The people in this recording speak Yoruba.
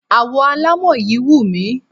Àwo alámọ̀ yí wù mí.